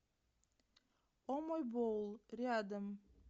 о мой боул рядом